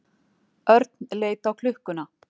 Örn leit á klukkuna.